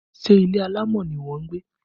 Ṣé ilé alámọ̀ ni ìwọ ń gbé?